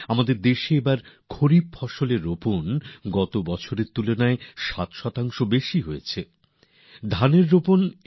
আমাদের দেশে এইবছর গত বছরের তুলনায় ৭ শতাংশ বেশি খরিফ ফসল বোনা হয়েছে